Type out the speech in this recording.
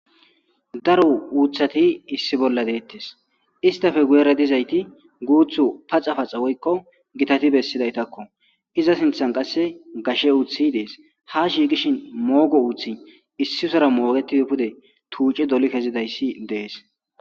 daro uuthati issi bolla deettes istafe guyere dizayti guuthu paxa paxa woykko gitati bessidaytakko iza sinthan qasse gashe uuthi dees ha shigishin moogo uuthi issisora moogetidi pude tuuci doli kezidayssi dees